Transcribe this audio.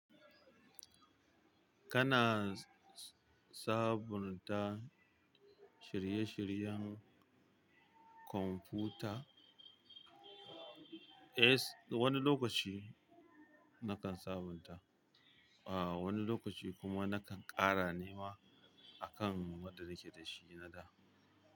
Kana sabunta shirye-shiryen kwamfuta? Eh, wani lokaci nakan sabunta, ah wani lokaci kuma nakan ƙara ne ma a kan wanda nake da shi na da.